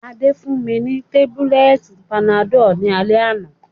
Adé fún mi ni tábúlẹ̀tì panadọ́l ní alẹ́ àná